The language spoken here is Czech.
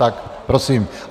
Tak prosím.